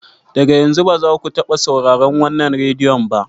Daga yanzu, ba za ku taɓa sauraron wannan rediyo ba!